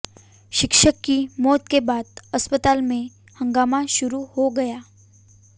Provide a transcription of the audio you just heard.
शिक्षक की मौत के बाद अस्पताल में हंगामा शुरू हो गया